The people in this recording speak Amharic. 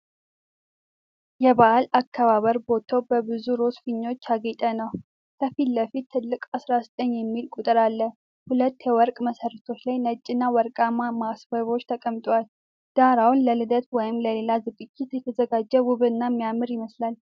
የበዓል አከባበር ቦታው በብዙ ሮዝ ፊኛዎች ያጌጠ ነው። ከፊት ለፊት ትልቅ "19" የሚል ቁጥር አለ። ሁለት የወርቅ መሠረቶች ላይ ነጭና ወርቃማ ማስዋቢያዎች ተቀምጠዋል። ዳራው ለልደት ወይም ለሌላ ዝግጅት የተዘጋጀ ውብና የሚያምር ይመስላል።